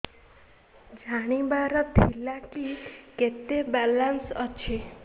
ଜାଣିବାର ଥିଲା କି କେତେ ବାଲାନ୍ସ ଅଛି